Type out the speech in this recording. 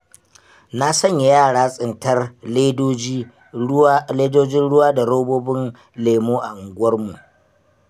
Na sanya yara tsintar ledojin ruwa da robobin lemo a unguwarmu.